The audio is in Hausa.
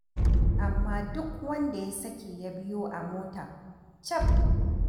Amma duk wanda ya sake ya biyo a mota, caf.